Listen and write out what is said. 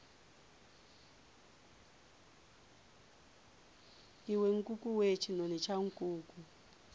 iwe nkukuwe tshinoni tsha nkuku